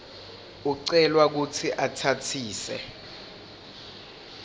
ucelwa kutsi utsatsise